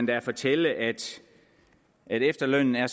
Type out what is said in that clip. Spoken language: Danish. da at fortælle at efterlønnen er